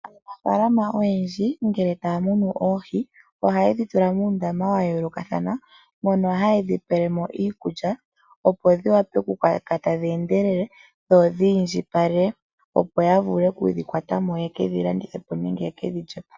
Aanafaalama oyendji ngele taa muna oohi oha ye dhi tula muundama wa yoolokathana. Oha yedhi pelemo iikulya, opo dhi wape okukoka tadhi endelele dho odhi indjipale ya vule okudhi kwatamo yekedhi landithepo nenge ye kedhi lyepo.